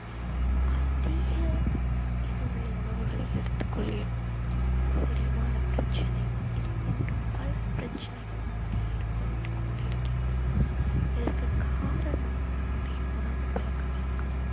அதிக இது உள்ள உணவுகளை எடுத்துக் கொள்கிறோம் செரிமான பிரச்சனை இது போன்ற பல பிரச்சனைகள் நமக்கு ஏற்பட்டு கொண்டு இருக்கிறது இதற்கு காரணம் நம்முடைய உணவு பழக்கவழக்கம்